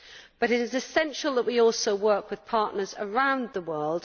But it is essential that we also work with partners around the world.